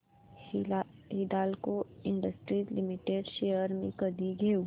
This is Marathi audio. हिंदाल्को इंडस्ट्रीज लिमिटेड शेअर्स मी कधी घेऊ